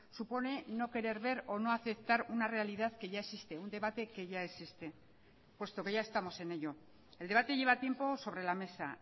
supone no querer ver o no aceptar una realidad que ya existe un debate que ya existe puesto que ya estamos en ello el debate lleva tiempo sobre la mesa